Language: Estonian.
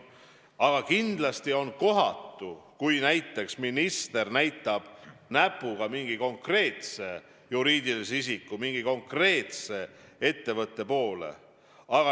Aga kindlasti on kohatu, kui näiteks minister näitab näpuga mingi konkreetse juriidilise isiku, mingi konkreetse ettevõtte poole.